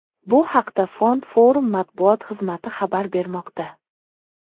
Bu haqda Fond Forum matbuot xizmati xabar bermoqda.